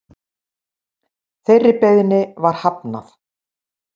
Þeirri beiðni var hafnað